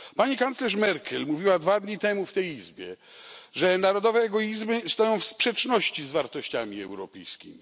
Pani kanclerz Merkel mówiła dwa dni temu w tej Izbie, że narodowe egoizmy stoją w sprzeczności z wartościami europejskimi.